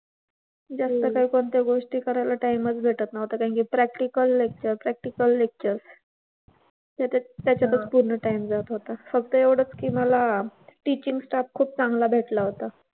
जास्त काही कोणत्या गोष्टी करायला time च भेटत नव्हता कारण की practical, lecture, practical, lecture. त्याच्यात त्याच्यातच पूर्ण time जात होता. फक्त एवढंच की मला teaching staff खूप चांगला भेटला होता.